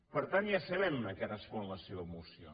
per tant ja sabem a què respon la seva moció